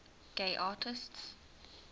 gay artists